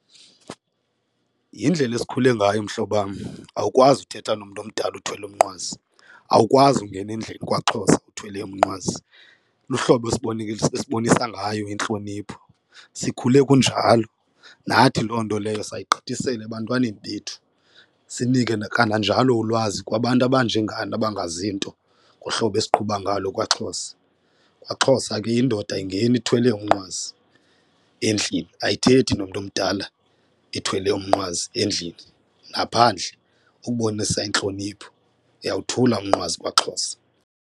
Yindlela esikhule ngayo, mhlobam, awukwazi uthetha nomntu omdala uthwele umnqwazi awukwazi ungena endlini kwaXhosa uthwele umnqwazi, luhlobo esibonisa ngayo intlonipho. Sikhule kunjalo, nathi loo nto leyo sayigqithisela ebantwaneni bethu, sinike nakananjalo ulwazi kwabantu abanjengani abangazi nto ngohlobo usiqhuba ngalo kwaXhosa. KwaXhosa ke indoda ayingeni ithwele umnqwazi endlini, ayithethi nomntu omdala ithwele umnqwazi endlini naphandle ukubonisa intlonipho uyawothula umnqwazi kwaXhosa.